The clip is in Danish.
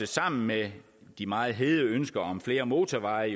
sammen med de meget hede ønsker om flere motorveje